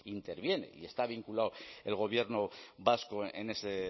interviene y está vinculado el gobierno vasco en ese